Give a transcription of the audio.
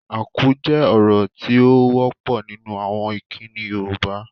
Akú jẹ́ ọ̀rọ̀ tí ó wọ́pọ̀ nínú àwọn ìkíni Yoruba